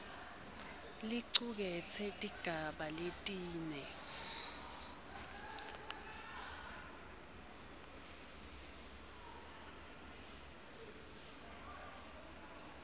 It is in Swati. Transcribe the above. licuketse tigaba letine